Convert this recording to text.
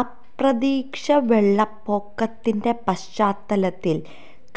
അപ്രതീക്ഷ വെള്ളപ്പൊക്കത്തിന്റെ പശ്ചാത്തലത്തില്